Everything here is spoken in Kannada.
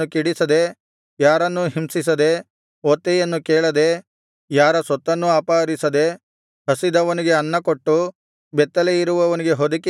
ಯಾರನ್ನೂ ಹಿಂಸಿಸದೆ ಒತ್ತೆಯನ್ನು ಕೇಳದೆ ಯಾರ ಸೊತ್ತನ್ನೂ ಅಪಹರಿಸದೆ ಹಸಿದವನಿಗೆ ಅನ್ನಕೊಟ್ಟು ಬೆತ್ತಲೆಯಿರುವವನಿಗೆ ಹೊದಿಕೆಯನ್ನು ಹೊದಿಸಿ